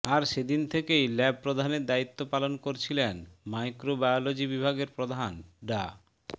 আর সেদিন থেকেই ল্যাব প্রধানের দায়িত্ব পালন করছিলেন মাইক্রোবায়েলজি বিভাগের প্রধান ডা